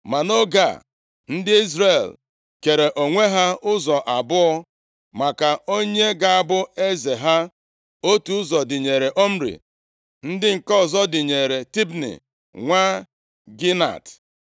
Ma nʼoge a, ndị Izrel kere onwe ha ụzọ abụọ maka onye ga-abụ eze ha. Otu ụzọ dịnyeere Omri, ndị nke ọzọ dịnyeere Tibni, nwa Ginat.